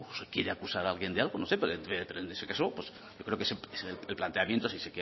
se quiere acusar a alguien de algo no sé pues en ese caso yo creo que el planteamiento si